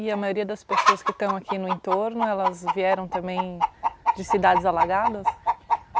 E a maioria das pessoas que estão aqui no entorno, elas vieram também de cidades alagadas?